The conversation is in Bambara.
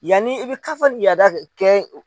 Yanni i bi kafa ni yaada kɛ